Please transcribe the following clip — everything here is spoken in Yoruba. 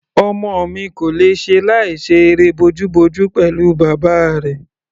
Ọmọ mi kò lè ṣe láìṣe eré bojúbojú pẹ̀lú bàbá rẹ̀.